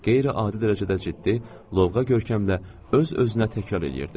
Qeyri-adi dərəcədə ciddi, lovğa görkəmlə öz-özünə təkrar eləyirdi: